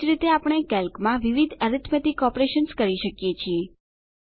એજ રીતે આપણે કેલ્કમાં વિવિધ એરીથ્મેતિક ઓપરેશન્સ કરી શકીએ છીએ